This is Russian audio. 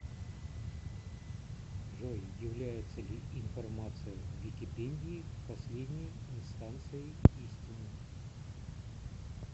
джой является ли информация в википедии последней инстанцией истины